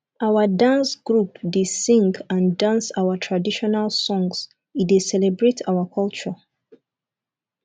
our dance group dey sing and dance our traditional songs e dey celebrate our culture